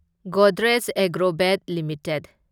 Godrej Agrovet limited